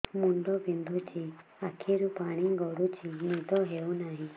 ମୁଣ୍ଡ ବିନ୍ଧୁଛି ଆଖିରୁ ପାଣି ଗଡୁଛି ନିଦ ହେଉନାହିଁ